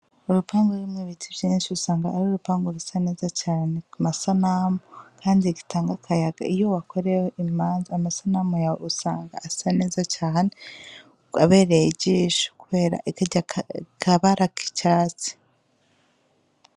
Urupangu rurimwo ibiti vyinshi usanga ari urupangu rusa neza cane ku masanamu, kandi bitanga akayaga .Iyo wakoreyeyo imanza, amasanamu yawe usanga asa neza cane, abereye ijisho kubera karya kabara k'icatsi.